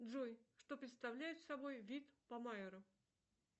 джой что представляет собой вид помаеро